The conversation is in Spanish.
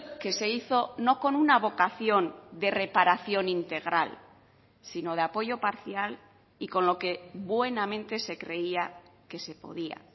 que se hizo no con una vocación de reparación integral sino de apoyo parcial y con lo que buenamente se creía que se podía